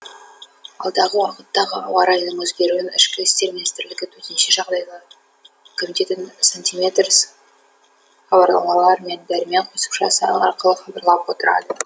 алдағы уақыттағы ауа райының өзгеруін ішкі істер министрлігі төтенше жағдайлар комитеті сантиметрс хабарламалар мен дәрмен қосымшасы арқылы хабарлап отырады